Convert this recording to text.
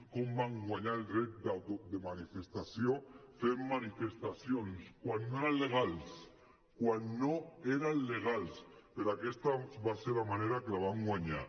com vam guanyar el dret de manifestació fent manifestacions quan no eren legals quan no eren legals però aquesta va ser la manera com els vam guanyar